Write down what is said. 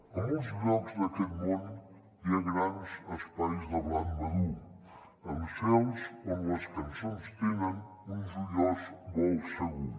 a molts llocs d’aquest món hi ha grans espais de blat madur amb cels on les cançons tenen un joiós vol segur